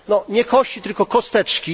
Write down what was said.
Nie kości, tylko kosteczki.